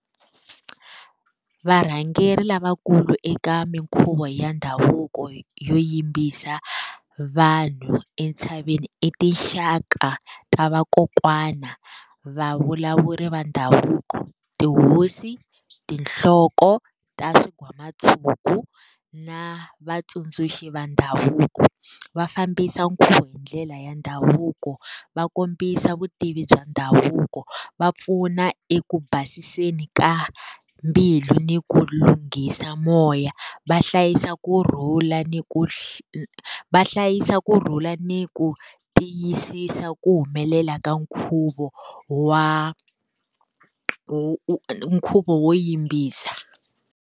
Varhangeri lavakulu eka minkhuvo ya ndhavuko yo yimbisa vanhu entshaveni i tinxaka ta vakokwana, va vulavuri va ndhavuko, tihosi tinhloko ta swigwamatshuku na vatsundzuxi va ndhavuko va fambisa nkhuvo hi ndlela ya ndhavuko va kombisa vutivi bya ndhavuko va pfuna eku basiseni ka mbilu ni ku lunghisa moya va hlayisa kurhula ni ku va hlayisa kurhula ni ku tiyisisa ku humelela ka nkhuvo wa nkhuvo wo yimbisa.